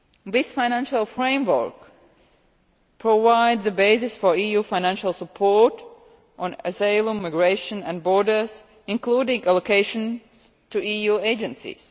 this financial framework provides the basis for EU financial support on asylum, migration and borders, including allocations to EU agencies.